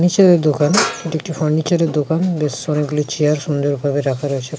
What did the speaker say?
নীচে যে দোকান। এটা একটি ফার্নিচার -এর দোকান। বেশ অনেজগুলি চেয়ার সুন্দরভাবে রাখা রয়েছে।